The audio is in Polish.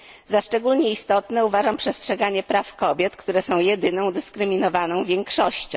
Za szczególnie istotne uważam przestrzeganie praw kobiet, które są jedyną dyskryminowaną większością.